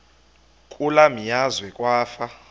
kule meazwe kwafa